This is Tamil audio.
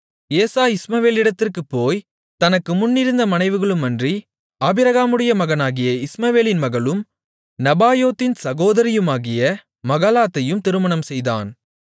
ஏசா இஸ்மவேலிடத்திற்குப் போய் தனக்கு முன்னிருந்த மனைவிகளுமன்றி ஆபிரகாமுடைய மகனாகிய இஸ்மவேலின் மகளும் நெபாயோத்தின் சகோதரியுமாகிய மகலாத்தையும் திருமணம் செய்தான்